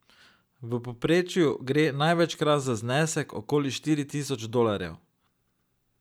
V povprečju gre največkrat za znesek okoli štiri tisoč dolarjev.